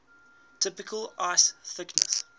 typical ice thickness